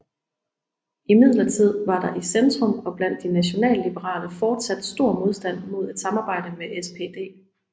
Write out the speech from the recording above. Imidlertid var der i Centrum og blandt de nationalliberale fortsat stor modstand mod et samarbejde med SPD